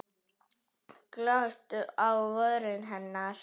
Glott á vörum hennar.